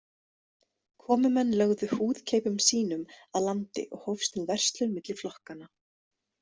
Komumenn lögðu húðkeipum sínum að landi og hófst nú verslun milli flokkanna.